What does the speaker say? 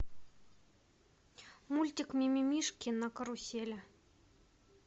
мультик ми ми мишки на карусели